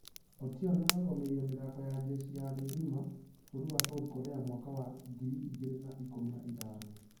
Otieno nĩararũgqmĩrĩire mĩthako ya jeshi ya thĩ ngima bũrũri wa south korea mwaka wa ngiri igĩrĩ na ikũmi na ithano.